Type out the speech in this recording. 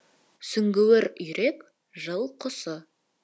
сүңгуір үйрек жыл құсы